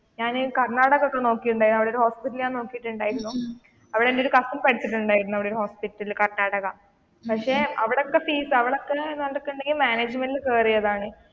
ഞാൻ കർണാടക ഓക്ക് നോക്കിയിട്ടുണ്ടായി അവിടെ ഒരു ഹോസ്റ്റൽ ഞാൻ നോക്കിയിട്ടുണ്ടായിരുന്നു അവിടെ എന്റെ ഒരു കസിൻ പഠിച്ചിട്ടുണ്ടായിരുന്നു അവിടെ ഒരു ഹോസ്പിറ്റലിൽ കർണാടക പക്ഷെ അവിടത്തെ ഫീസ് അവിടത്തെ മാനേജ്‍മെന്റിൽ കേറിയതാണ്.